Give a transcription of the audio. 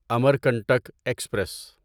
Amarkantak express